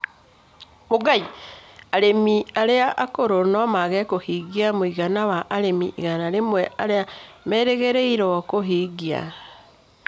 Arĩmi arĩa akũrũ no mage kũhingia mũigana wa arĩmi igana rĩmwe arĩa merĩgĩrĩirwo kũhingia.